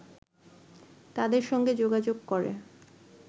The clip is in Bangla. তাদের সঙ্গে যোগাযোগ করে